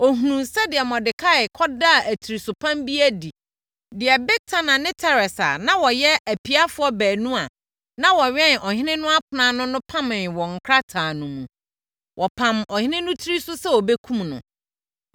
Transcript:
Ɔhunuu sɛdeɛ Mordekai kɔdaa atirisopam bi adi, deɛ Bigtana ne Teres a na wɔyɛ apiafoɔ baanu a na wɔwɛn ɔhene no apono ano no pamee wɔ nkrataa no mu. Wɔpamm ɔhene no tiri so sɛ wɔbɛkum no.